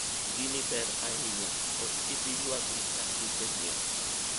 gini ber ahinya, ok ibi yuagri ka isenyiewo